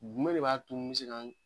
Jumɛn de b'a to ni n be se ka n